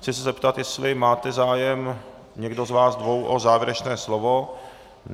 Chci se zeptat, jestli máte zájem, někdo z vás dvou, o závěrečné slovo.